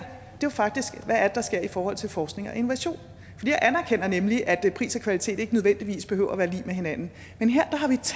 er faktisk hvad der sker i forhold til forskning og innovation jeg anerkender nemlig at pris og kvalitet ikke nødvendigvis behøver at være lig med hinanden men her